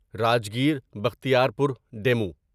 Rajgir Bakhtiyarpur demo